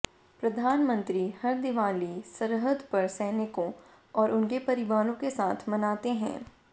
प्रधानमंत्री हर दिवाली सरहद पर सैनिकों और उनके परिवारों के साथ मनाते हैं